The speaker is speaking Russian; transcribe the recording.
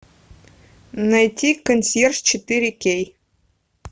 найти консьерж четыре кей